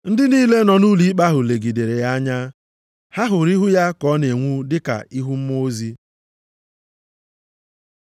Ndị niile nọ nʼụlọikpe ahụ legidere ya anya. Ha hụrụ ihu ya ka ọ na-enwu dị ka ihu mmụọ ozi.